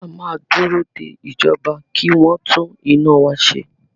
A máa dúró de ìjọba kí wọ tún iná wa ṣe.